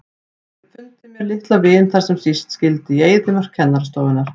Ég hef fundið mér litla vin þar sem síst skyldi, í eyðimörk kennarastofunnar.